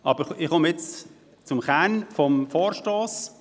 Aber jetzt komme ich zum Kern meines Vorstosses: